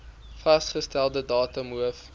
vasgestelde datum hof